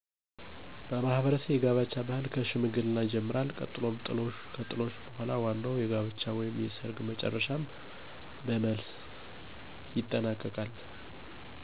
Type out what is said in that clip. በማህበረሰቤ የጋብቻ ባህል ከሽምግልና ይጀምራል ቀጥሎም ጥሎሽ ከጥሎሽ በኃላም ዋናዉ የጋብቻ ወይም ሰርግ በመጨረሻም በመልስ ይጠናቀቃል።